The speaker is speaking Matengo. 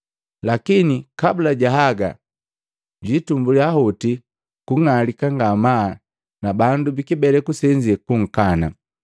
Lakini kabula ja haga jwiitumbuliya hoti kung'alika ngamaa na bandu bikibeleku senze kunkana,